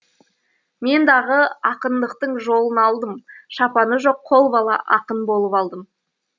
мен дағы ақындықтың жолын алдым шапаны жоқ қолбала ақын болып алдым